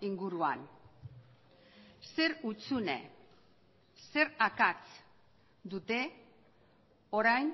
inguruan zer hutsune zer akats dute orain